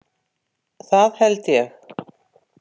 Það held ég